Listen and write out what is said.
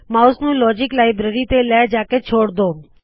mouse ਨੂ logic library ਤੇ ਲੈ ਜਾਕੇ ਛੋੜ ਦੋ